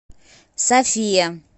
софия